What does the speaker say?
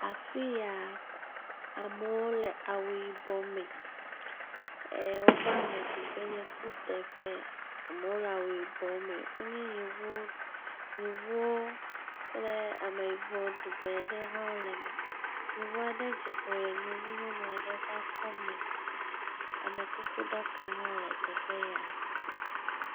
Afi yaa, amewo le awu yibɔ me, ɛɛ wova ameɖiƒee nye kuteƒe. Amewo le awu yibɔ me. Wonye Yevuwo, Yevuwo kple Ameyibɔ ŋee ɖewo hã le me. Yevu aɖe dze klo le Yevu nyɔnu aɖe ƒe akɔme. Amekukuɖaka hã le teƒe yaa.